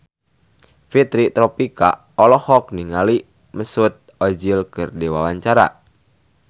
Fitri Tropika olohok ningali Mesut Ozil keur diwawancara